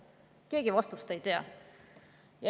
Keegi vastust ei tea.